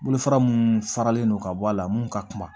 Bolofara mun faralen no ka bɔ a la mun ka kuma